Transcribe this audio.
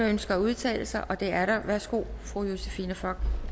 ønsker at udtale sig det er der værsgo fru josephine fock